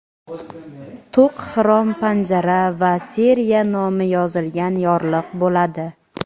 to‘q xrom panjara va seriya nomi yozilgan yorliq bo‘ladi.